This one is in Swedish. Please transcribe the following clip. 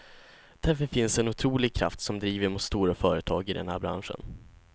Därför finns en otrolig kraft som driver mot stora företag i den här branschen.